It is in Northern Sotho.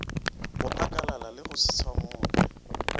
go akalala le se tshwamoge